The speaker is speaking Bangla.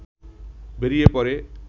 বেরিয়ে পড়ে